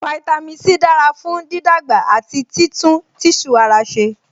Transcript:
Fáítámì C dára fún dídàgbà àti títún tíṣù ara ṣe